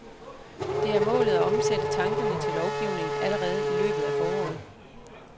Det er målet at omsætte tankerne til lovgivning allerede i løbet af foråret.